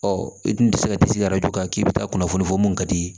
Ɔ i dun ti se ka tisi k'i bɛ taa kunnafoni fɔ mun ka di